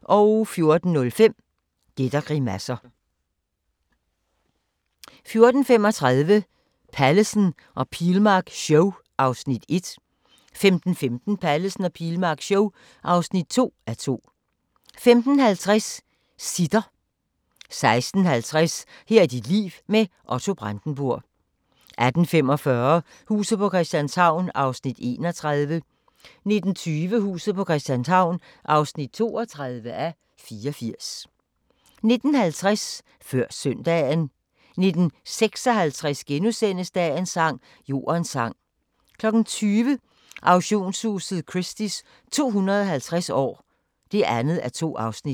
14:05: Gæt og grimasser 14:35: Pallesen og Pilmark show (1:2) 15:15: Pallesen og Pilmark show (2:2) 15:50: Sitter 16:50: Her er dit liv – med Otto Brandenburg 18:45: Huset på Christianshavn (31:84) 19:20: Huset på Christianshavn (32:84) 19:50: Før Søndagen 19:56: Dagens sang: Jordens sang * 20:00: Auktionshuset Christie's 250 år (2:2)